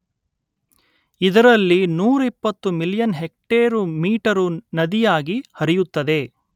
ಇದರಲ್ಲಿ ನೂರಿಪ್ಪತ್ತು million hectare metre ನದಿಯಾಗಿ ಹರಿಯುತ್ತದೆ